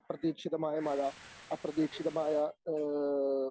അപ്രതീക്ഷിതമായ മഴ അപ്രതീക്ഷിതമായ ഏഹ്